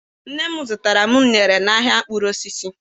Nne m zụtara m uṅere n'ahịa mkpụrụ osisi.